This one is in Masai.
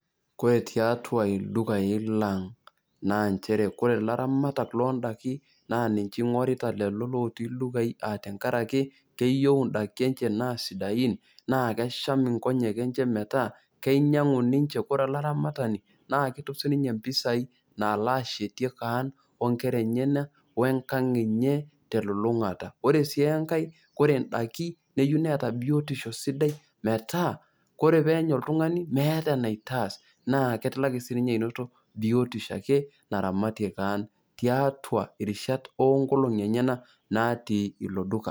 Kore tiatua ildukain leng' naa nchere Kore ilairamatak loo indaiki naa eng'orita lelo lotii ildukain a tenkara ake keyou indaiki enye naa sidain naa kesham inkonyek enye metaa , keinyangu ninche ,Kore olaramatani naa ketum siininye impisai naalo ashetie kaan o nkera enyena we enkang' enye teliilungata. Ore sii enkai Kore indaiki neyou neata biotisho sidai metaa Kore peenya oltung'ani meata enaitaas naa etilaki sii ninye ainoto biotisho ake naramatie kaan tiatua irishat oo nkolongi enyena natii ilo duka.